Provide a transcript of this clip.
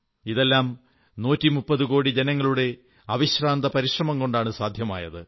ഇതെല്ലാം 130 കോടി ജനങ്ങളുടെ അവിശ്രാന്ത പരിശ്രമം കൊണ്ടാണ് സാധ്യമായത്